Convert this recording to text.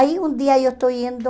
Aí um dia eu estou indo